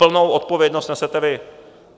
Plnou odpovědnost nesete vy.